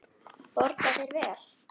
Borga þeir vel?